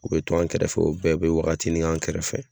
O be to an kɛrɛfɛ o bɛɛ be wagatini kɛ an kɛrɛfɛ